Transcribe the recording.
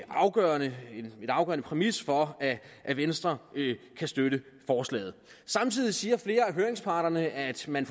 afgørende præmis for at venstre kan støtte forslaget samtidig siger flere af høringsparterne at man